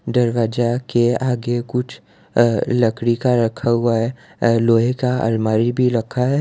दरवाजा के आगे कुछ अह लकड़ी का रखा हुआ है लोहे का अलमारी भी रखा है।